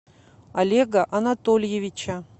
олега анатольевича